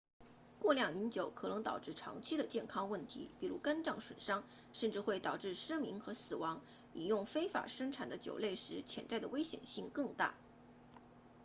过量饮酒可能导致长期的健康问题比如肝脏损伤甚至会导致失明和死亡饮用非法生产的酒类时潜在的危险性更大